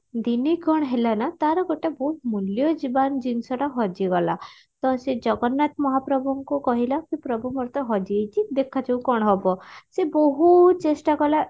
ଦିନେ କଣ ହେଲା ନା ତାର ଗୋଟେ ବହୁତ ମୂଲ୍ୟବାନ ଜିନିଷ ଟା ହଜିଗଲା ତ ସେ ଜଗନ୍ନାଥ ମହାପ୍ରଭୁଙ୍କୁ ହେ ପ୍ରଭୁ ମୋର ତ ହଜିଯାଇଛି ଦେଖାଯାଉ କଣ ହବ ସେ ବହୁତ ଚେଷ୍ଟା କଲା